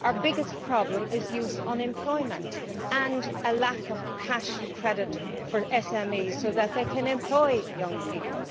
Our biggest problem is youth unemployment and a lack of cash and credit for SMEs so that they can employ young people.